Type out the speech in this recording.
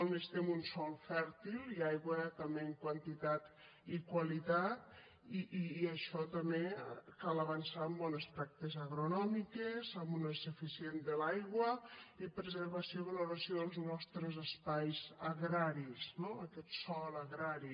necessitem un sòl fèrtil i aigua també en quantitat i qualitat i en això també cal avançar en bones pràctiques agronòmiques amb un ús eficient de l’aigua i preservació i valoració dels nostres espais agraris no aquest sòl agrari